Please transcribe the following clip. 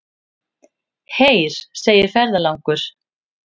Heyr, segir ferðalangur.